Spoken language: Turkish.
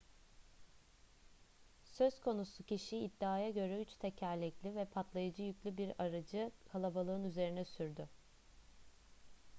söz konusu kişi iddiaya göre üç tekerlekli ve patlayıcı yüklü bir aracı kalabalığın üzerine sürdü